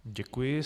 Děkuji.